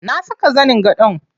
Na saka zanin gadon.